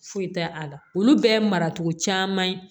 Foyi tɛ a la olu bɛɛ ye maracogo caman ye